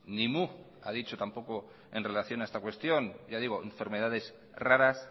ni mu ha dicho tampoco en relación a esta cuestión ya digo enfermedades raras